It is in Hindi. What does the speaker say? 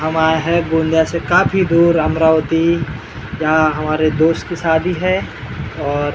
हम आए हैं गोंदिया से काफी दूर अमरावती जहाँ हमारे दोस्त की शादी है और हम --